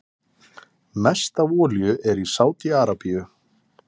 Mest af olíu er í Sádi-Arabíu.